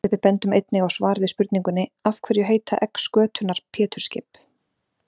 Við bendum einnig á svar við spurningunni Af hverju heita egg skötunnar Pétursskip?